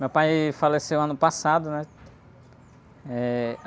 Meu pai faleceu ano passado, né? Eh...